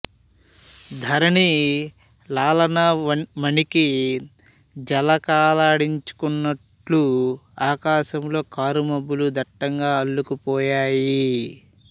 ధరణి లలానా మణికి జలకాలాడించుకన్నట్లు ఆకాశంలో కారుమబ్బులు దట్టంగా అల్లుకుపోయాయి